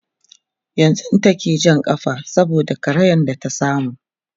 yanzun take Jan kafa saboda karayan da ta samu